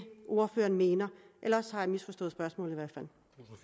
ordføreren mener ellers har jeg misforstået spørgsmålet